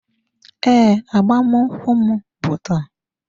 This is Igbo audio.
Ee, agbamakwụkwọ m bụ taa.